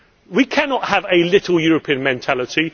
We cannot have a little European' mentality.